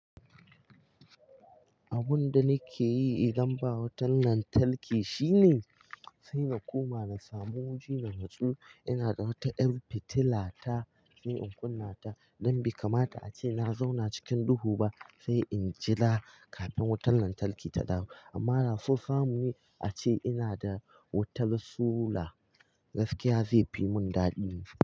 Abun da nake yi idan ba wutan lantarki shine sai na koma na samu wuri na nutsu. Ina da wata ƴar fitila ta sai in kunna ta don bai kamata ace na zauna cikin duhu ba sai in jira kafin wutan lantarki ta dawo. Amma da so samu ne ace ina da wutar sola gaskiya zai fi mun daɗi.